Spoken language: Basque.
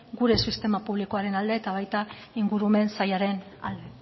gure sistema publikoaren alde eta baita ingurumen sailaren alde